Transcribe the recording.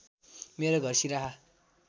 मेरो घर सिराहा